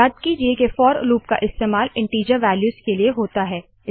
याद कीजिये के फोर लूप का इस्तेमाल इनटीजर वालयूज़ के लिए होता है